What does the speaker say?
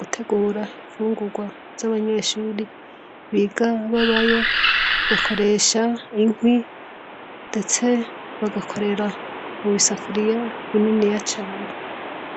gutegura ifungurwa z'abanyeshuri biga babayo bakoresha inkwi ndetse bagakorera mu bisafuriya bininiya cane.